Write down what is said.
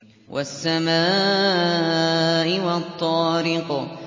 وَالسَّمَاءِ وَالطَّارِقِ